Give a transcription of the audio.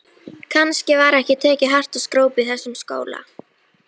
Kannski var ekki tekið hart á skrópi í þessum skóla.